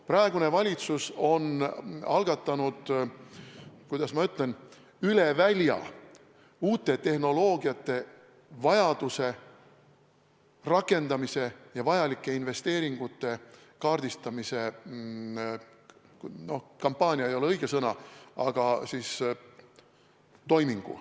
Praegune valitsus on algatanud – kuidas ma ütlen?– üle välja uute tehnoloogiate vajaduse, rakendamise ja vajalike investeeringute kaardistamise – noh, kampaania ei ole õige sõna – toimingu.